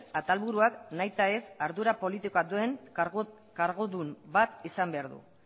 atal buruak nahita ez ardura politikoa duen kargudun bat izan behar du